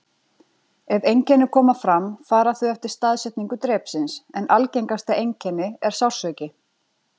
Ef einkenni koma fram fara þau eftir staðsetningu drepsins, en algengasta einkenni er sársauki.